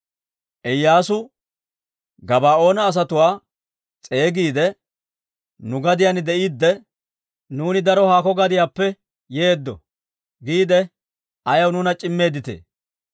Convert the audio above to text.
Iyyaasu Gabaa'oona asatuwaa s'eegiide, «Nu gadiyaan de'iidde, ‹Nuuni daro haakko gadiyaappe yeeddo› giide, ayaw nuuna c'immeeditee?